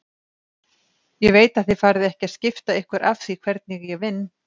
Ég veit að þið farið ekki að skipta ykkur af því hvernig ég vinn.